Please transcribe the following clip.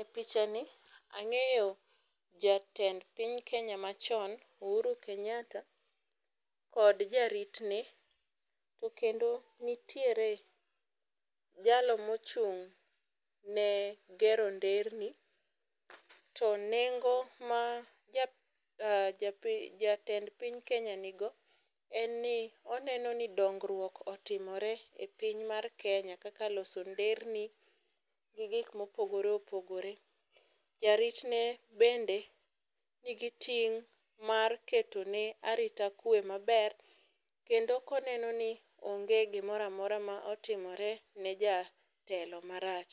E picha, ni ang'eyo jatend piny kenya machon Uhuru Kenyata to kod jaritne. To kendo nitiere jalo mochung'ne gero nderni. To nengo ma ja japi jatend piny kenya nigo en ni oneno ni dongruok e piny mar Kenya kaka loso nderni gi gik mopogore opogore. Jaritne bende nigi ting' mar keto ne arita kwe maber kendo koneno ni onge gimoramora motimore ne jatelo marach.